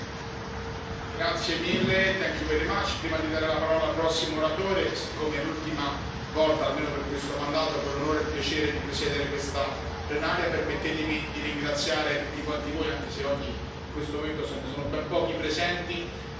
Prima di dare la parola al prossimo oratore, siccome è l'ultima volta, almeno per questo mandato, che ho l'onore e il piacere di presiedere questa plenaria, permettetemi di ringraziare tutti quanti voi, anche se oggi in questo momento sono ben pochi i presenti, per la grande possibilità che mi avete dato